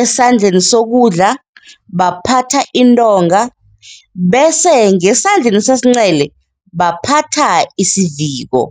esandleni sokudla baphatha intonga bese ngesandleni sesincele baphatha isiviko.